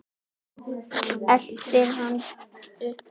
Eltir hana uppi.